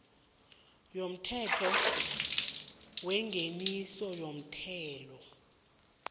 yomthetho wengeniso yomthelo